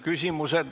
Küsimused.